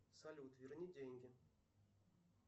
салют верни деньги